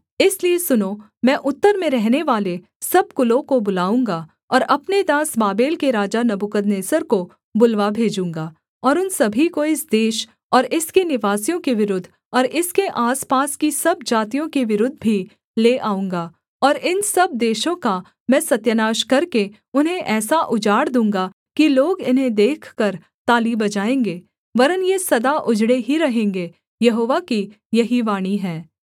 इसलिए सुनो मैं उत्तर में रहनेवाले सब कुलों को बुलाऊँगा और अपने दास बाबेल के राजा नबूकदनेस्सर को बुलवा भेजूँगा और उन सभी को इस देश और इसके निवासियों के विरुद्ध और इसके आसपास की सब जातियों के विरुद्ध भी ले आऊँगा और इन सब देशों का मैं सत्यानाश करके उन्हें ऐसा उजाड़ दूँगा कि लोग इन्हें देखकर ताली बजाएँगे वरन् ये सदा उजड़े ही रहेंगे यहोवा की यही वाणी है